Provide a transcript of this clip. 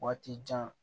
Waati jan